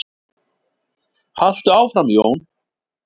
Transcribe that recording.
Haltu áfram Jón!